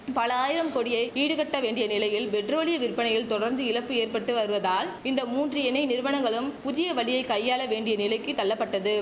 பல ஆயிரம் கோடியை ஈடுகட்ட வேண்டிய நிலையில் பெட்ரோலிய விற்பனையில் தொடர்ந்து இழப்பு ஏற்பட்டு வருவதால் இந்த மூன்று எண்ணெய் நிறுவனங்களும் புதிய வழியை கையாள வேண்டிய நிலைக்கு தள்ளப்பட்டது